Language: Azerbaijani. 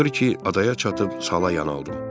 Axır ki, adaya çatıb sala yan aldım.